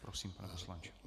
Prosím, pane poslanče.